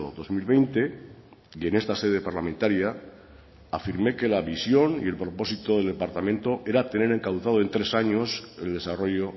dos mil veinte y en esta sede parlamentaria afirmé que la visión y el propósito del departamento era tener encauzado en tres años el desarrollo